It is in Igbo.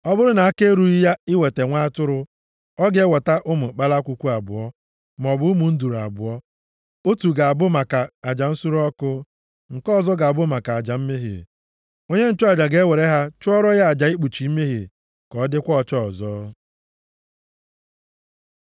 Ọ bụrụ na aka erughị ya iweta nwa atụrụ, ọ ga-eweta ụmụ kpalakwukwu abụọ, maọbụ ụmụ nduru abụọ. Otu ga-abụ maka aja nsure ọkụ, nke ọzọ ga-abụ maka aja mmehie. Onye nchụaja ga-ewere ha chụọrọ ya aja ikpuchi mmehie, ka ọ dịkwa ọcha ọzọ.’ ”